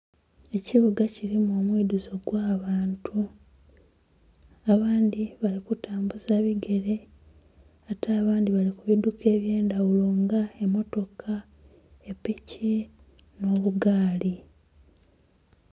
Ekibuga kirimu omwidhuzo gwa'bantu abandhi bali kutambuza bigere ate abandhi bali ku biduka ebyendhaghulo nga motoka, epiki nho'bugaali.